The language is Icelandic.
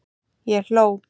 Ég hló.